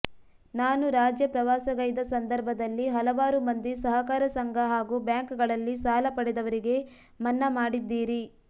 ನಾನು ರಾಜ್ಯ ಪ್ರವಾಸಗೈದ ಸಂದರ್ಭದಲ್ಲಿ ಹಲವಾರು ಮಂದಿ ಸಹಕಾರ ಸಂಘ ಹಾಗೂ ಬ್ಯಾಂಕ್ಗಳಲ್ಲಿ ಸಾಲ ಪಡೆದವರಿಗೆ ಮನ್ನಾ ಮಾಡಿದ್ದೀರಿ